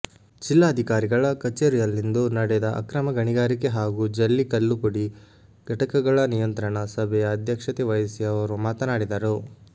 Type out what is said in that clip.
ಜಿಲ್ಲಾಧಿಕಾರಿಗಳ ಕಚೇರಿಯಲ್ಲಿಂದು ನಡೆದ ಅಕ್ರಮ ಗಣಿಗಾರಿಕೆ ಹಾಗೂ ಜಲ್ಲಿ ಕಲ್ಲುಪುಡಿ ಘಟಕಗಳ ನಿಯಂತ್ರಣ ಸಭೆಯ ಅಧ್ಯಕ್ಷತೆ ವಹಿಸಿ ಅವರು ಮಾತನಾಡಿದರು